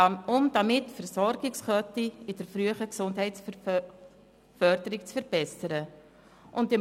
Damit soll die Versorgungskette in der frühen Gesundheitsförderung verbessert werden.